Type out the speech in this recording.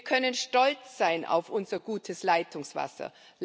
Wir können stolz sein auf unser gutes Leitungswasser.